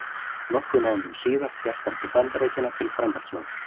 Nokkrum mánuðum síðar hélt hann til Bandaríkjanna til framhaldsnáms.